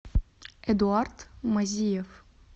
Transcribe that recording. эдуард мазиев